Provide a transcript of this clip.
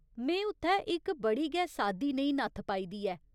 में उत्थै इक बड़ी गै सादी नेही नत्थ पाई दी ऐ।